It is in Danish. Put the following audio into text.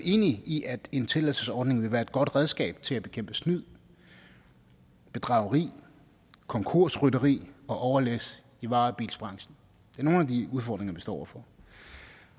enige i at en tilladelsesordning vil være et godt redskab til at bekæmpe snyd bedrageri konkursrytteri og overlæs i varebilsbranchen det er nogle af de udfordringer vi står over for